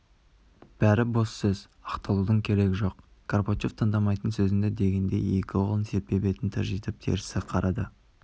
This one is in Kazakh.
бәрі бос сөз ақталудың керегі жоқ горбачев тыңдамаймын сөзіңді дегендей екі қолын серпе бетін тыржитып терісі қарады